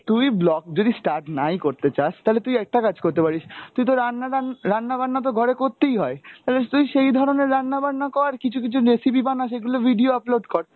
তুই vlog যদি start নাই করতে চাস তালে তুই একটা কাজ করতে পারিস তুই তো রান্না-টান্, রান্না-বান্না তো ঘরে করতেই হয়, তালে তুই সেই ধরনের রান্না-বান্না কর, কিছু কিছু recipe বানা সেগুলো video upload কর।